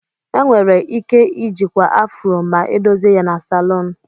Enwere ike ijikwa Afro ma edozi ya na salon.